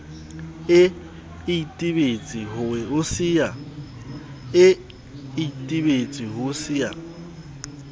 e itebetse ho se ya